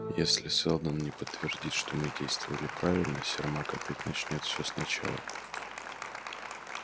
если сэлдон не подтвердит что мы действовали правильно сермак опять начнёт все сначала